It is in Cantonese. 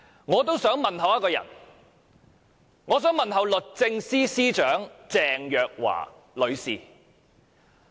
我也想問候一個人，我想問候律政司司長鄭若驊女士。